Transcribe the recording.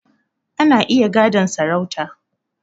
Ana iya gadon sarauta